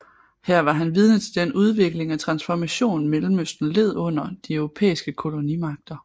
Her var han vidne til den udvikling og transformation Mellemøsten led under de europæiske kolonimagter